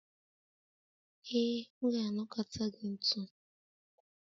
Ee, m ga-anakọta gị ntu